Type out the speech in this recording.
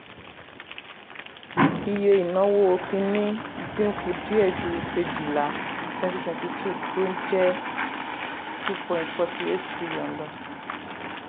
iye ìnáwó kínní dín kù díẹ̀ ju kejìlá twenty twenty two tó jẹ́ two point forty eight trillion lọ.